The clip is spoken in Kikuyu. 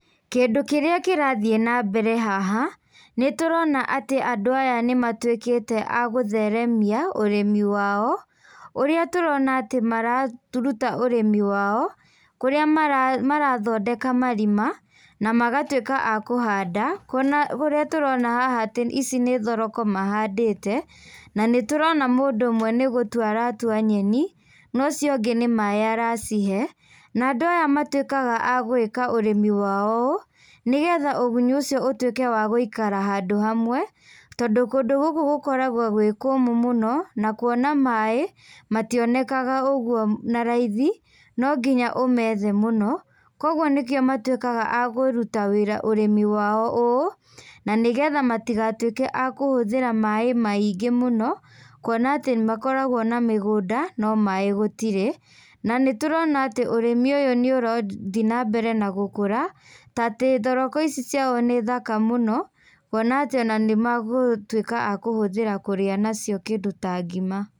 Kĩndũ kĩrĩa kĩrathiĩ na mbere haha, nĩtũrona atĩ andũ aya nĩmatuĩkĩte a gũtheremia, ũrĩmi wao, ũrĩa tũrona atĩ maratũruta ũrĩmi wao, kũrĩa mara marathondeka marima, na magatuĩka a kũhanda, kuona ũrĩa tũrona haha atĩ ici nĩ thoroko mahandĩte, na nĩ tũrona mũndũ ũmwe nĩgũtua aratua nyeni, nocio ũngĩ nĩ maĩ aracihe, na andũ aya matuĩkaga a gwĩka ũrĩmi wao ũũ, nĩgetha ũgunyu ũcio ũtuĩke wa gũikara handũ hamwe, tondũ kũndũ gũkũ gũkoragwo gwĩ kũmũ mũno, na kuona maĩ, mationekaga ũguo naraithi, no nginya ũmethe mũno. Koguo nĩkĩo matuĩkaga a kũruta ũrĩmĩ wao ũũ, na nĩgetha matigatuĩke a kũhũthĩra maĩ maingĩ mũno, kuona atĩ makoragwo na mĩgũnda, no maĩ gũtirĩ, na nĩtũrona atĩ ũrimi ũyũ nĩũrathiĩ nambere na gũkũra tatĩ thoroko ici ciao nĩ thaka mũno, kuona atĩ ona nĩmagũtuika a kũhũthĩra kũrĩa nacio kĩndũ ta ngima.